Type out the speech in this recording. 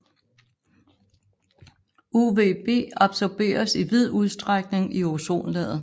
UVB absorberes i vid udstrækning i ozonlaget